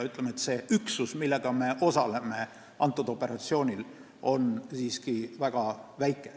See üksus, millega me sellel operatsioonil osaleme, on siiski väga väike.